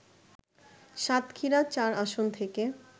সাতক্ষীরা-৪ আসন থেকে